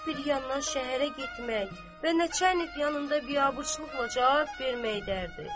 Bir yandan şəhərə getmək və neçə əlif yanında biabırçılıqla cavab vermək dərdi.